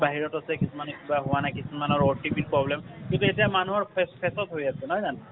বাহিৰত আছে ,কিছুমানৰ কিবা হোৱা নাই ,কিছুমানৰ OTP ৰ problem । কিন্তু এতিয়া মানুহৰ face face ত হৈ আছে নহয় জানো।